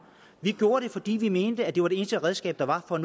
vi gjorde det fordi vi mente at det var det eneste redskab der var for